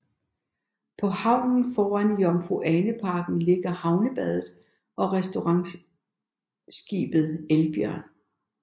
På havnen foran Jomfru Ane Parken ligger Havnebadet og restaurantskibet Elbjørn